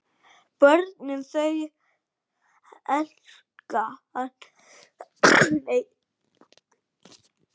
Börnin öll þau elska hann.